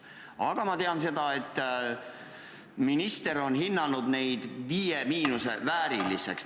Aga ma tean seda, et minister on hinnanud neid hinde "5–" vääriliseks.